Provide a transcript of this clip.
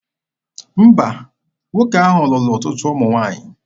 Mba, nwoke ahụ lụrụ ọtụtụ ụmụ nwaanyị.